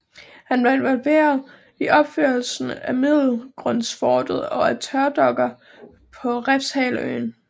Han var involveret i opførelsen af Middelgrundsfortet og af tørdokker på Refshaleøen